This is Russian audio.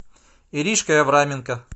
иришкой авраменко